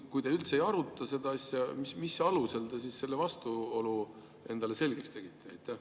Kui te üldse ei aruta seda asja, siis mis alusel te selle vastuolemise endale selgeks tegite?